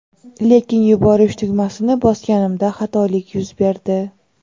lekin yuborish tugmasini bosganimda xatolik yuz berdi.